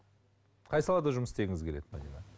қай салада жұмыс істегіңіз келеді